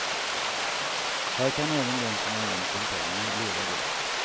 Här kan även den som har ont om pengar leva gott.